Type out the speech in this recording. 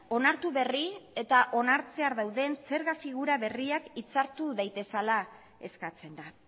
onartu berri eta onartzear dauden zerga figura berriak hitzartu daitezela eskatzen da